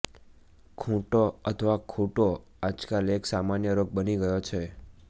ખૂંટો અથવા ખૂંટો આજકાલ એક સામાન્ય રોગ બની ગયો છે